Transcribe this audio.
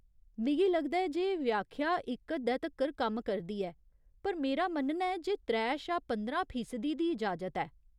मिगी लगदा ऐ जे व्याख्या इक हद्दै तक्कर कम्म करदी ऐ, पर मेरा मन्नना ऐ जे त्रै शा पंदरां फीसदी दी इजाजत ऐ।